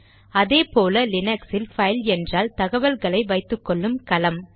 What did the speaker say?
அதே போல லினக்ஸில் பைல் என்றால் தகவல்களை வைத்துக்கொள்ளும் கலம்